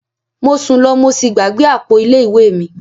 Mo sun lọ mo sí gbàgbé àpò ilé ìwé mi.